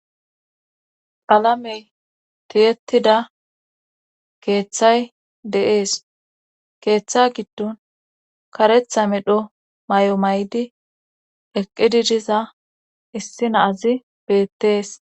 Alamey tiyettida keeththay deees keeththa giddon karetha medho may7o may7di eqqididiza issina azi beettees